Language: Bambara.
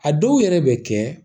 A dɔw yɛrɛ bɛ kɛ